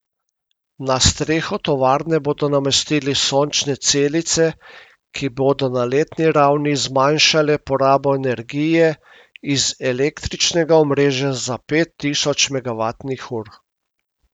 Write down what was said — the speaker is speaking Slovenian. Na streho tovarne bodo namestili sončne celice, ki bodo na letni ravni zmanjšale porabo energije iz električnega omrežja za pet tisoč megavatnih ur.